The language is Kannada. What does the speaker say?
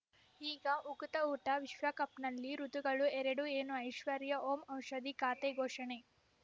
ಈಗ ಉಕುತ ಊಟ ವಿಶ್ವಕಪ್‌ನಲ್ಲಿ ಋತುಗಳು ಎರಡು ಏನು ಐಶ್ವರ್ಯಾ ಓಂ ಔಷಧಿ ಖಾತೆ ಘೋಷಣೆ